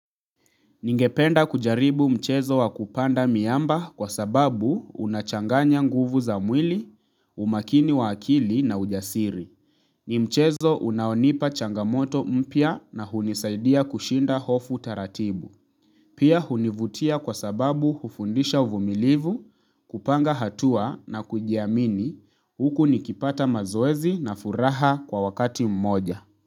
Ningependa kujaribu mchezo wa kupanda miamba kwa sababu unachanganya nguvu za mwili, umakini wa akili na ujasiri. Nimchezo unaonipa changamoto mpya na hunisaidia kushinda hofu taratibu. Pia hunivutia kwa sababu hufundisha uvumilivu, kupanga hatua na kujiamini huku nikipata mazoezi na furaha kwa wakati mmoja.